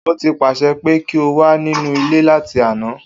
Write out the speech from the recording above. O ti paṣẹ pe ki o wa ninu ile lati ana.